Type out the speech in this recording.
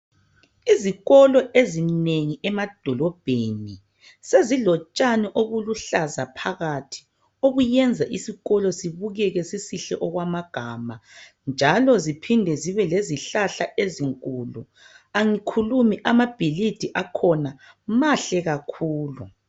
Izikolo ezinengi emadolobheni sezilotshani obuluhlaza phakathi obenza isikolo sibukeke okwamagama njalo ziphinde zibe lezihlahla ezinkulu. Angikhulumi amabhilidi akhona mahle kakhulu.